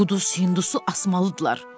O quduz hindusu asmalıdırlar.